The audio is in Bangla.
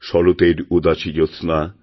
শরতের উদাসী জ্যোৎস্না